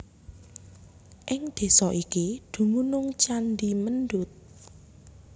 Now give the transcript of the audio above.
Ing desa iki dumunung candhi Mendut